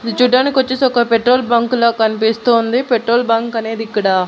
ఇది చూడ్డానికొచ్చేసి ఒక పెట్రోల్ బంకు లా కన్పిస్తోంది పెట్రోల్ బంక్ అనేదిక్కడ.